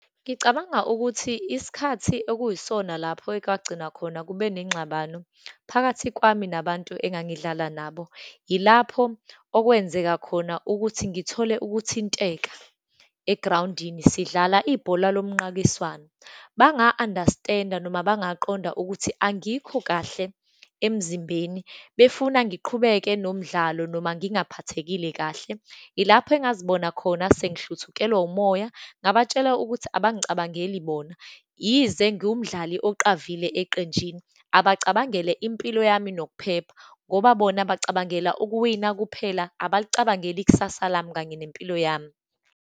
Ngicabanga ukuthi isikhathi okuyisona lapho ekwagcina khona kube nengxabano phakathi kwami, nabantu engangidlala nabo. Ilapho okwenzeka khona ukuthi ngithole ukuthinteka egrawundini, sidlala ibhola lomnqakiswano, banga-understand-a, noma bangaqonda ukuthi angikho kahle emzimbeni, befuna ngiqhubeke nomdlalo noma ngingaphathekile kahle. Ilapho engazibona khona sengihluthukelwa umoya, ngabatshela ukuthi abangicabangeli bona, yize ngiwumdlali oqavile eqenjini, abacabangela impilo yami, nokuphepha, ngoba bona bacabangela ukuwina kuphela, abalicabangeli ikusasa lami, kanye nempilo yami.